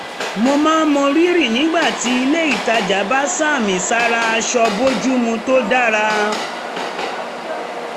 mo máa um mọ rírì nígbà tí ilé ìtajà bá sàmì sára aṣọ bójúmu tó dára